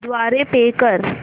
द्वारे पे कर